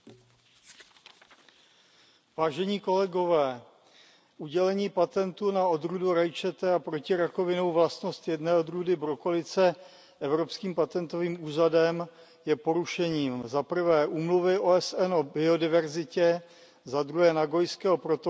Pane předsedající, udělení patentu na odrůdu rajčete a protirakovinnou vlastnost jedné odrůdy brokolice Evropským patentovým úřadem je porušením zaprvé úmluvy OSN o biodiverzitě, zadruhé Nagojského protokolu k této úmluvě,